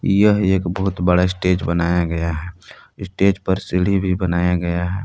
यह एक बहुत बड़ा स्टेज बनाया गया है इस स्टेज पर सीढ़ी भी बनाया गया है।